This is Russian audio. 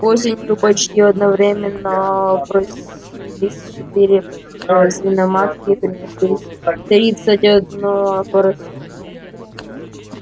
осенью почти одновременно опоросились четыре свиноматки принеся тридцать одного поросёнка